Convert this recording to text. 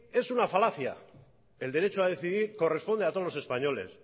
es una falacia el derecho a decidir corresponde a todos los españoles